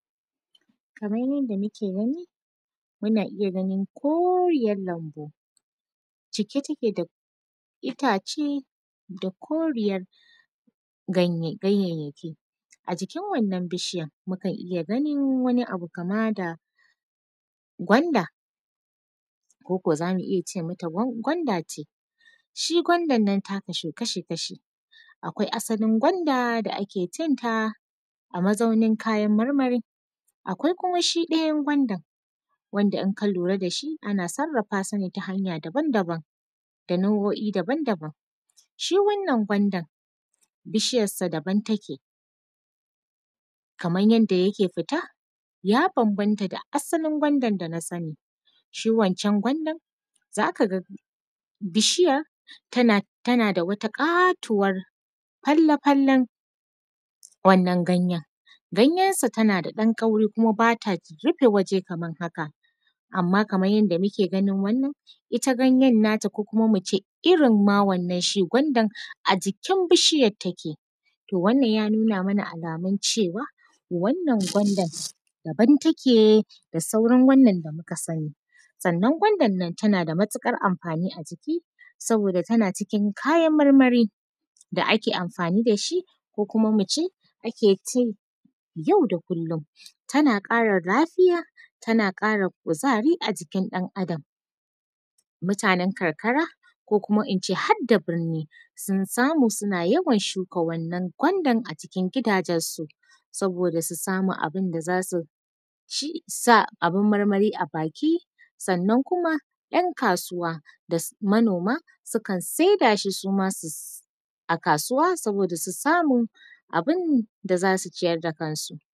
Kaman yanda muke gani. Muna iya ganin koriyan lanbu cike take da itace da koriyar ganye ganyayyaki, a jikin wannan bishiyan za mu iya ganin wani abu kama da gwanda ko ko za mu iya ce ma ta gwanda ce. Shin gwandannan ta kasu kasha-kashi, akwai asalin gwanda da ake cin ta a mazaunin kayan marmari, akwai kuma shi ɗayan gwandan wanda in kalura dashi ana sarfassne ta hanya daban daban da nau’oi daban daban shi wannan gwandan bishiyan sa daban take kaman yanda yake fita ya banabanta da asalin gwandan da na sani shi wancan gwandan zakaga bishiyan tana tanada wata ƙatuwar falafallen wannan ganyen ganyensa tanada ɗan kauri kuma bata rufe wuri kaman haka anma kaman yanda muke ganin wannan ita ganyen ta ko kuma muce irinma wannan shi gwandan a jikin bishiyar take to wannan yanuna mana alamun cewa wannan gwandan daban take da sauran wanda muka sani sannan gwandannnan tanada matuƙar anfani a jiki saboda tana cikin kayan marmari da ake anfani dashi ko kuma muce akecin yauda kullon tana ƙara lafiya tana ƙara kuzari a jikin ɗan adam mutanen karkara ko kuma ine harda birni sunsamu suna shuka wannan gwandan a cikin gidajensu saboda su sama abinda zasuci sa abin maramai a baki sannan kuma yan kasuwa da manoma sukan sai da shi suma sus a kasuwa saboda susamu abinda zasu ciyar da kansu.